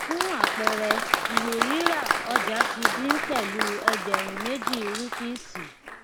fún àpẹẹrẹ iìwé ríra ọjà ti dín pẹlú ẹgbẹrún méjì rúpíìsì